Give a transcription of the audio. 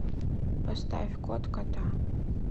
поставь кот кота